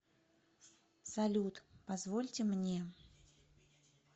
салют позвольте мне